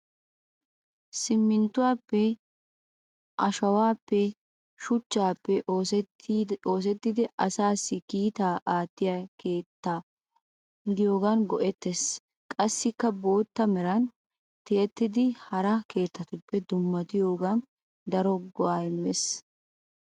Postta keettay simminttuwaappe, ashawaappenne shuchchaappe oosettidi asaassi kiitaa aattiya keetta gidiyogan go'ees. Qassika bootta meran tiyettidi hara keettaappe dummatiyogan daro go'aa immees.